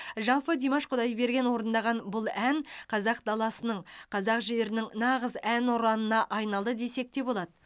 жалпы димаш құдайберген орындаған бұл ән қазақ даласының қазақ жерінің нағыз әнұранына айналды десек те болады